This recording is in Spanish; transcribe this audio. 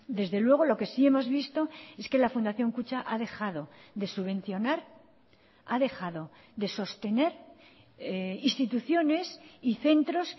desde luego lo que sí hemos visto es que la fundación kutxa ha dejado de subvencionar ha dejado de sostener instituciones y centros